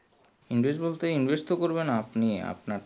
invest বলতে invest তো করবেন আপনি আপনার